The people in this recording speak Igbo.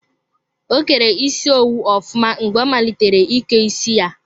O kere isi owu ofụma mgbe ọ malitere ike isi ya.